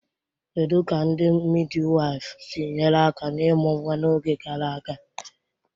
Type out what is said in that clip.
Kedu ka ndị midiwaifu si nyere aka n'ịmụ nwa n'oge gara aga?